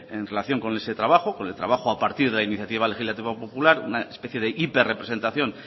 en relación con ese trabajo con el trabajo a partir de la iniciativa legislativa popular una especie de hiper representación